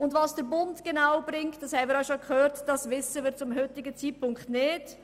Was der Bund genau bringen wird – wir haben das bereits gehört –, wissen wir zum heutigen Zeitpunkt nicht.